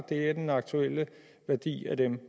er den aktuelle værdi af dem